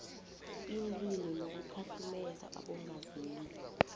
iinlilo nokukhahlumeza abongazimbi